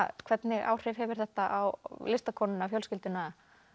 hvernig áhrif hefur þetta á listakonuna fjölskylduna